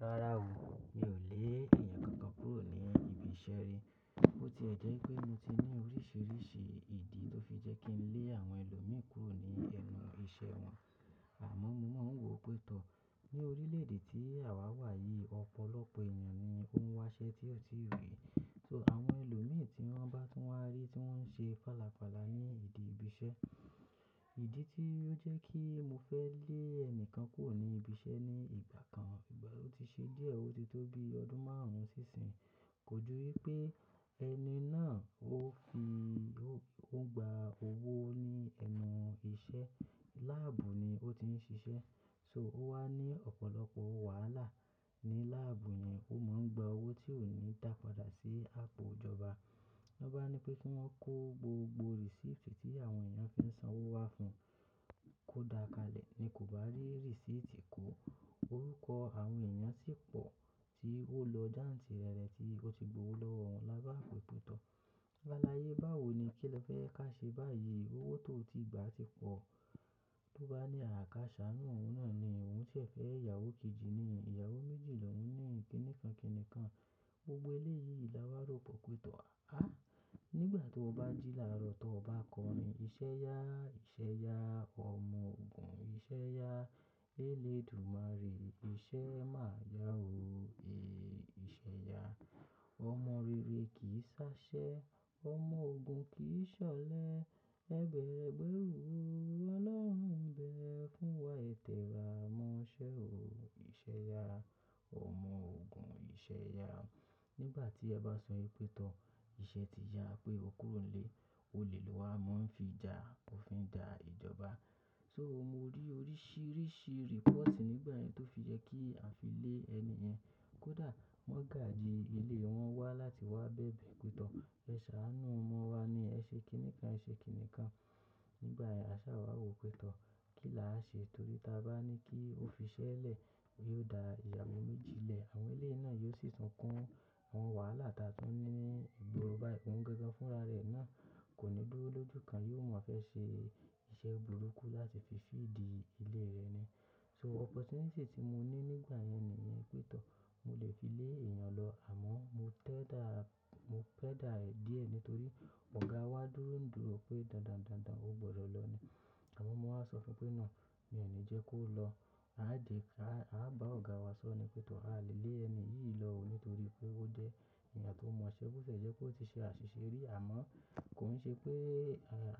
Rárá o, mi ò lé èèyàn kankan kúrò ní ibi iṣẹ́ rí. Ó ti ẹ̀ jẹ́ pé mo ti ní oríṣiríṣi ìdí tó fi jẹ́ kí n lé àwọn ẹlòmíì kúrò ní ẹnu iṣẹ́ wọn, àmọ́ mo máa ń wò ó pé tọ̀ọ. Ni orílẹ̀-èdè tí àwa wà yìí, ọ̀pọ̀lọpọ̀ èèyàn ni ó ń wáṣẹ́ tí ọ̀ tíì rí. So àwọn ẹlòmíì tí wọ́n bá tún wá rí tí wọ́n ń ṣe fàlàfàlà ní ìdí ibi iṣẹ́. Ìdí tí ó jẹ́ kí mo fẹ́ lé ẹnikan kúrò ní ibi iṣẹ́ ní ìgbà kan, ìgbà wo ti ṣe díẹ̀, ó ti tó bí ọdún márùn-ún sí ìsìn. Kò jù wípé ẹni náà ó fi, ó ń gba owó ní ẹnu iṣẹ́. Láàbù ni ó ti ń ṣiṣẹ́. So ó wá ní ọ̀pọ̀lọpọ̀ wàhálà ní láàbù yẹn. Ó máa ń gba owó tí ò ní dápadà sí àpò ìjọba. Niwọ́n bá ni pé kí wọ́n kó gbogbo receipt tí àwọn èèyàn fi ń san owó wá fún, kó dà kalẹ̀ ni kò bá rí receipt kó. Orúkọ àwọn èèyàn sì pọ̀ tí ó lọ jáǹtì rẹ̀rẹ tí ó ti gbowó lọ́wọ́ wọn lábape pè tọ́ọ. Sáláyé báwo ni kín lẹfẹ́ jẹ ká ṣe báyìí? Owó tó ti gbà ti pọ̀. Tó bá ní a ká ṣàánú òun náàni, òun sẹ fẹ́ ìyàwó kejì ni, ìyàwó méjì loún ni, kínikan kínikan. Gbogbo eléyìí la wà rò pọ̀ pé tọ̀ọ. Àh! Nígbà tí ó bá jílàárọ̀ tó bá kọrin, "Ìṣẹ́ yá, ìṣẹ́ yá, ọmọ ògùn, ìṣẹ́ yá. Eléèdúmáre ìṣe máa yá o. Èéh, ìṣẹ́ yá. Ọmọ rere kì í ṣáṣẹ́, ọmọ ògùn kì í ṣọlẹ. Ẹbẹ̀rẹ̀ ẹ gbẹru o. Ọlọ́run n bẹ̀ ẹ́ fún wa. Ẹtẹra mọ́ṣẹ́ o. Ìṣẹ́ yá, ọmọ ògùn, ìṣẹ́ yá." Nígbà tí a bá sọ wípé pé tọ̀ọ, ìṣẹ́ ti yá pé o kúrò nílé. Olè lọ wá mo ń fijà, o fi ń jà ìjọba. So mo rí oríṣìíríṣìí report nígbà yẹn tó fi yẹ kí a fi lé ẹniyẹn. Kódà mọgaji ilé wọn wá láti wá bẹ̀bẹ pé tọọ̀. "Ẹ ṣàánú ọmọ wa ni, ẹ ṣe kínikan, ẹ ṣe kínikan." Nígbà yẹn a ṣà wàwò pé tọ̀ọ kín lá á ṣe torí tí a bá ní kí ó fi iṣẹ́ lẹ̀, ó yóò dá ìyàwó méjì lẹ̀. Àwọn eléyìí náà yóò sì tún kún àwọn wàhálà táa tún ní ìgboro báyìí. Ó ń gangan fúnra rẹ̀ náà, kò ní dúró lójú kan, yóò mọ fẹ́ ṣe iṣẹ́ burúkú láti fi feed ilé rẹ̀ ni. So opportunity tí mo ní nígbà yẹn ni ìyẹn pé tọ̀. Mo lè fi lé èèyàn lọ àmọ́ mo tẹ́dà, mo pẹ́dà ẹ̀ díẹ̀ nítorí ọ̀gá wa dúró ń dúró pé, "Dandan, dandan ó gbọdọ̀ lọ ni." Àmọ́ mo wá sọ fún pé, "No, mi ò ní jẹ́ kó lọ. A á di, a á bá ọ̀gá wa sọ ni pé tọ̀. A lè lé ẹni yìí lọ ò ní torí pé ó jẹ́ èèyàn tó mọ iṣẹ́. Bó tiẹ jẹ́ pé ó ti ṣe àṣìṣe rí àmọ́ kò n ṣe pé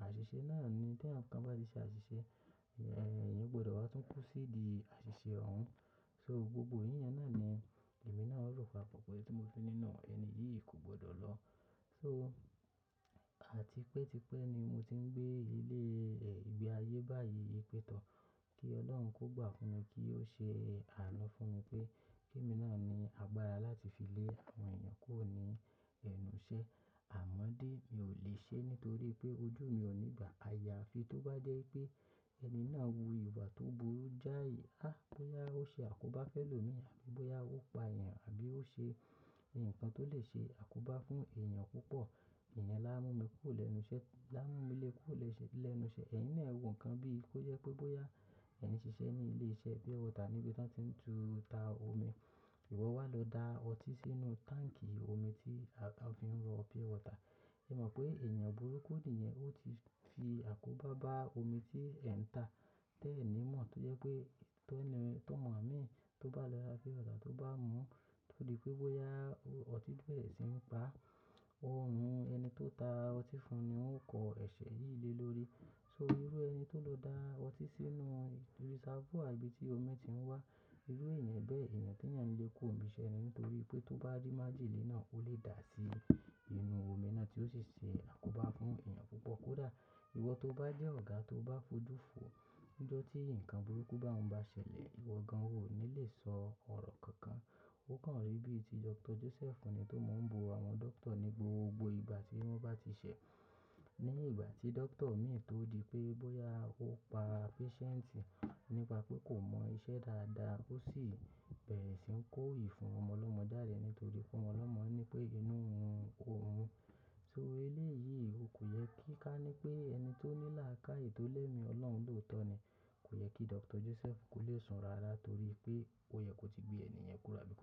àṣìṣe náà ni. T èèyàn kan bá ti ṣe àṣìṣe, èèyàn gbọdọ̀ wá tún kún sídi àṣìṣe òun. So gbogbo yín yẹn náà ni èmi náà rò papọ̀ pé tí mo fi ni no. Ẹni yìí kò gbọdọ̀ lọ." So àti pé tipẹ́ ni mo ti ń gbé ilé, ìgbé ayé báyìí pé tọ̀. Kí Ọlọ́run kó gbà fún mi kí ó ṣe àánú fún mi pé kí èmi náà ní agbára láti fi lé àwọn èèyàn kúrò ní ẹnu iṣẹ́. Àmọ́ dé, mi ò lè ṣe nítorí pé ojú mi ò nígbà àyàfi. Tó bá jẹ́ pé ẹni náà wù ìwà tó burú jáì, ah! Bóyá ó ṣe àkóbá fẹ́lòmíràn àbí bóyá ó pa èèyàn àbí ó ṣe nǹkan tó lè ṣe àkóbá fún èèyàn púpọ̀, iyẹn láa múmi lé kúrò lẹ́nu iṣẹ́. Ẹ̀yìn náà ẹ̀ wò nǹkan bíi kó jẹ pé bóyá ẹ n ṣiṣẹ́ ní ilé-iṣẹ́ pure water níbi tí wọ́n ti ń ta omi, ìwọ wá lọ dà ọtí sínú táǹkì omi tí a fi ń rọ pure water. Ẹ mọ̀ pé èèyàn burúkú niyẹn, ó ti fi àkóbá bá omi tí ẹ̀ ń tà. Tẹ́ẹ̀ ni mọ̀ tó jẹ́ pé ti ọmọ mií, tó bá lọ ra pure water, tó bá mú, tó di pé bóyá ọtí n bẹrẹ sì ń pa, ọrun ẹni tó ta ọtí fún ni ó kọ ẹ̀ṣẹ̀ yìí lé lórí. So irú ẹni tó lọ dà ọtí sínú reservoir ibi tí omi ti ń wá. Irú èèyàn bẹ́ẹ̀, èèyàn tí ẹ̀yàn ní é kúrò níbi iṣẹ́ ni nítorí pé tó bá rí májèlé náà, ó lè dà sí inú omi náà tí ó sì ṣe àkóbá fún èèyàn púpọ̀. Kódà ìwọ tó bá jẹ́ ọ̀gá tó bá fojú fò níjọ́ tí ǹkan burúkú bá ń bá ṣẹlẹ̀, ìwọ gan-an ò ní lè sọ ọ̀rọ̀ kankan. Ó kàn rí bí i tí Dr. Joseph ni tó máa ń bú àwọn doctor ní gbogbo ìgbà tí wọ́n bá ti ṣẹ̀. Ní ìgbà tí doctor mìíràn tó rí pé bóyá ó pa patient nípa pé kò mọ iṣẹ́ dáadáa, ó sì bẹrẹ sì ń kó ìfún ọmọ ọlọọmọ jáde nítorí pé ọmọ ọlọmọ ni pé inú n run òun. So eléyìí kòyẹ kí ká ní pé ẹni tó ní làákàyè tó ni ẹmi Ọlọ́run ló tọ́ ni. Kò yẹ kí Dr. Joseph kò lè sùn rárá torí pé ó yẹ kó ti gbé ènìyàn kúrò.